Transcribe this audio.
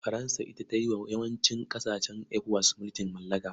Faransa ita ta yi wa yawancin ƙasashen ECOWAS mulkin mallaka.